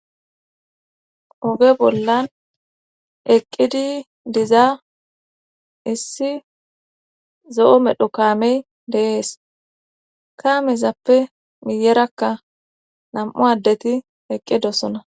oge bollan eqqidi diza issi zo7o medho kaamey deees kaamezappe miyerakka nam7u addeti eqqidosona